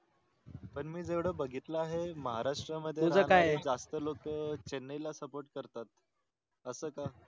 पण मी जेवड बघितल आहे महाराष्ट्रा मध्ये जास्त लोक चेन्नई ला SUPPORT करतात